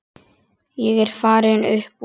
Ég er farinn upp úr.